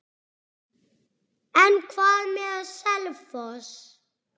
En hvað með Selfoss?